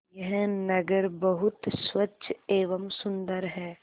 यह नगर बहुत स्वच्छ एवं सुंदर है